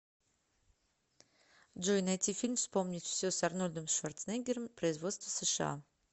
джой найти фильм вспомнить все с арнольдом шварценеггером производство сша